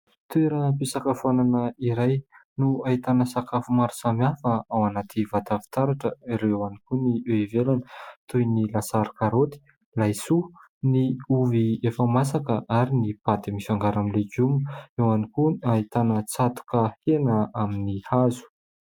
Toeram-pisakafoanana iray no ahitana sakafo maro samihafa ao anaty vata fitaratra ary eo ihany koa ny eo ivelany toy ny lasary karoty, laisoa, ny ovy efa masaka ary ny paty mifangaro amin'ny legioma ; eo ihany koa no ahitana tsatoka hena amin'ny hazo.